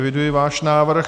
Eviduji váš návrh.